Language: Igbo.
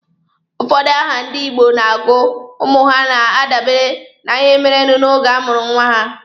Ụfọdụ aha ndị Igbo na-agọ ụmụ ha na-adabere na ihe merenụ oge a mụrụ nwa ha.